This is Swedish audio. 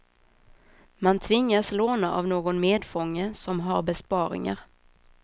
Man tvingas låna av någon medfånge som har besparingar.